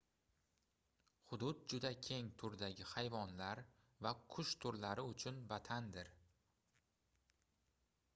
hudud juda keng turdagi hayvonlar va qush turlari uchun vatandir